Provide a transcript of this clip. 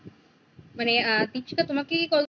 মানে আহ তিথিকা তোমাকে কি call